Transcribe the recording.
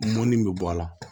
Mɔnni bɛ bɔ a la